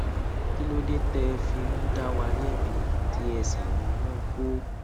kí ló dé té ẹ fi ń dá wa lébi tí ẹ sì ń mú kó